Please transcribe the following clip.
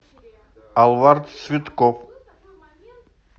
алвар цветков